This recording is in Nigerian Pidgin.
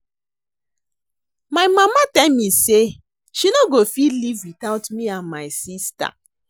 My mama tell me say she no go fit live without me and my sister